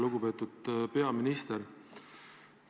Lugupeetud peaminister!